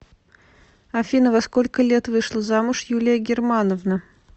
афина во сколько лет вышла замуж юлия германовна